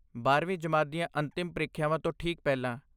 ਬਾਰਵੀਂ ਜਮਾਤ ਦੀਆਂ ਅੰਤਿਮ ਪ੍ਰੀਖਿਆਵਾਂ ਤੋਂ ਠੀਕ ਪਹਿਲਾਂ